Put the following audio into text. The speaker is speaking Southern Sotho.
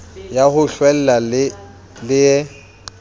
ya ho hlwela le e